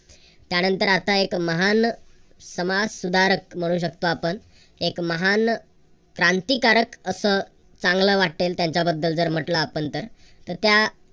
त्यानंतर आता एक महान समाजसुधारक म्हणू शकतो आपण एक महान क्रांतिकारक असं चांगलं वाटेल त्यांच्याबद्दल जर म्हटलं आपण तर तर त्या